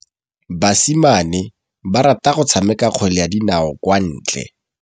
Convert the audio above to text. Basimane ba rata go tshameka kgwele ya dinaô kwa ntle.